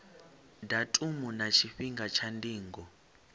datumu na tshifhinga tsha ndingo